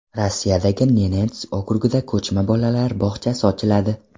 Rossiyadagi Nenets okrugida ko‘chma bolalar bog‘chasi ochiladi.